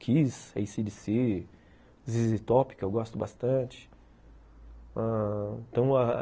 Kiss, ACDC, ZZ Top, que eu gosto bastante.